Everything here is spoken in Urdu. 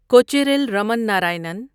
کوچیریل رمن ناراینن